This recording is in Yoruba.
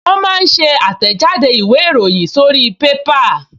Wọ́n máa ń ṣe àtẹ̀jáde ìwé ìròyìn sórí pépà